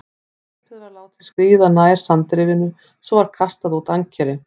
Skipið var látið skríða nær sandrifinu, svo var kastað út ankeri.